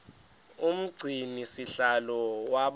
umgcini sihlalo waba